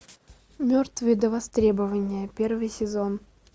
мертвые до востребования первый сезон